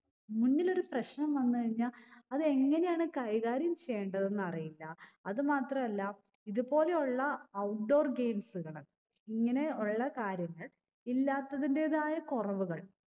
മുന്നിലൊരു പ്രശ്നം വന്ന് കഴിഞ്ഞാ അത് എങ്ങനെയാണ് കൈകാര്യം ചെയ്യണ്ടതെന്നറിയില്ല അത് മാത്രല്ല ഇത് പോലെയുള്ള outdoor games കൾ ഇങ്ങനെ ഉള്ള കാര്യങ്ങൾ ഇല്ലാത്തതിന്റെതായ കുറവുകൾ